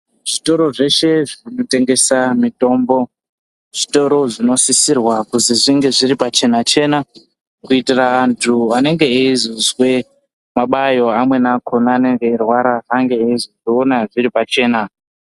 Zvitoro zveshe zvinotengesa mitombo zvitoro zvinosisirwa kuzi zvinge zviri pachena-chena kuitira antu anenge eizozwe mabayo amweni akona anenge eirwara ange eizozviona zviri pachena.